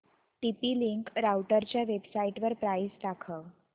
TP link राउटरच्या वेबसाइटवर price दाखव